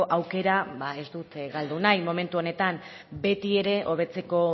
aukera ba ez dut galdu nahi momentu honetan betiere hobetzeko